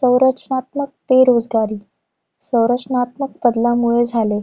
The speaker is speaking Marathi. संरचनात्मक बेरोजगारी. संरचनात्मक बदलांमुळे झाले.